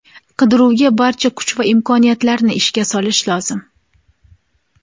Qidiruvga barcha kuch va imkoniyatlarni ishga solish lozim.